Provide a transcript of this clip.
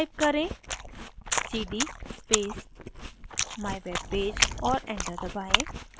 type करें: cd space mywebpage और enter दबाएँ